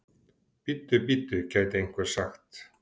Bíddu, bíddu, gæti einhver sagt.